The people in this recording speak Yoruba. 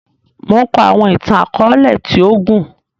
Mo n kọ àwọn ìtàn-akọọlẹ ti o gún